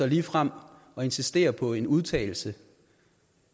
ligefrem at insistere på en udtalelse